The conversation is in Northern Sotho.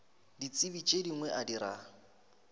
ditsebi tše dingwe a dira